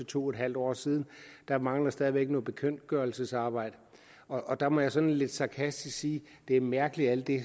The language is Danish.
to en halv år siden der mangler stadig væk noget bekendtgørelsesarbejde og der må jeg sådan lidt sarkastisk sige at det er mærkeligt at alt det